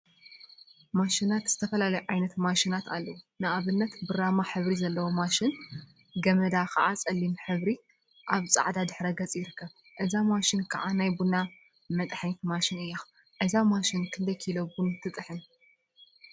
ማሽናት ዝተፈላለዩ ዓይነት ማሽናት አለው፡፡ ንአብነት ብራማ ሕብሪ ዘለዋ ማሽን ገመዳ ከዓ ፀሊም ሕብሪ አብ ፃዕዳ ድሕረ ገፅ ይርከብ፡፡ እዛ ማሽን ከዓ ናይ ቡና መጥሐኒት ማሽን እያ፡፡ እዛ ማሽን ክንደይ ኪሎ ቡና ትጥሕን?